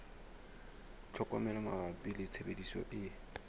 tlhokomelo mabapi le tshebediso e